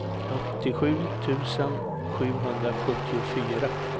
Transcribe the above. åttiosju tusen sjuhundrasjuttiofyra